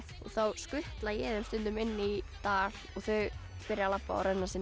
þá skutla ég þeim stundum inn í dal og þau byrja að labba og renna sér